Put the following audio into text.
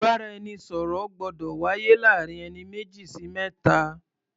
Ìbáraẹnisọ̀rọ̀ gbọ́dọ̀ wáyé láàrin ẹni méjì sí mẹ́ta.